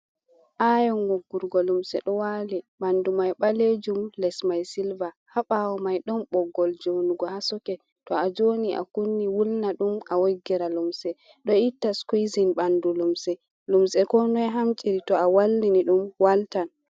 Ayon woggurgo lumse ɗo wali ɓandu mai ɓalejum les mai silva, haɓawo mai ɗon ɓoggol jonugo ha socke. Tou a joni a kunni wulna ɗum a woggira lumse ɗo itta skuizin ɓandu lumse, lumse ko noi hamɗiri to a wallini ɗum waltan.